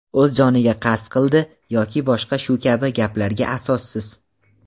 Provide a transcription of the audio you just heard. O‘z joniga qasd qildi yoki boshqa shu kabi gaplarga asossiz.